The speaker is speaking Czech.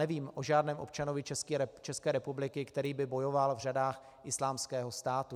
Nevím o žádném občanovi České republiky, který by bojoval v řadách Islámského státu.